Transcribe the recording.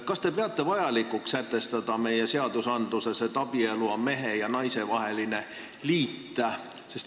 Kas te peate vajalikuks sätestada meie seadustes, et abielu on mehe ja naise vaheline liit?